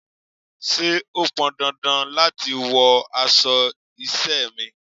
Ṣé o pọn dandan láti wọ aṣọ iṣẹ́ mi?